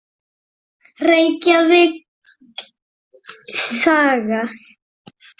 Reykjavík: Saga.